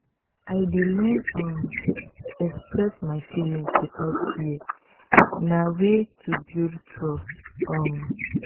i dey learn um to express my feelings without fear; na way to build trust. um